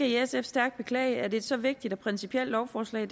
i sf stærkt beklage at et så vigtigt og principielt lovforslag